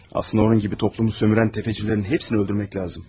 Əslində onun kimi cəmiyyəti sömürən sələmçilərin hamısını öldürmək lazımdır.